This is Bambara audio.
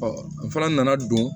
n fana nana don